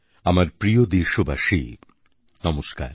আমার প্রিয় দেশবাসী নমস্কার